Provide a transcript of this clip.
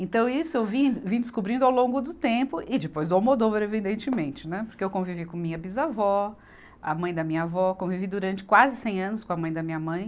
Então, isso eu vim, vim descobrindo ao longo do tempo e depois do Almodóvar, evidentemente, né, porque eu convivi com minha bisavó, a mãe da minha avó, convivi durante quase cem anos com a mãe da minha mãe.